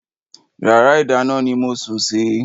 Yàrá ìdáná ni mo sùn sí.